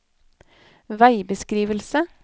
veibeskrivelse